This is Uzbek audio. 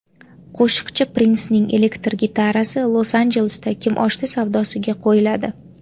Qo‘shiqchi Prinsning elektr gitarasi Los-Anjelesda kimoshdi savdosiga qo‘yiladi.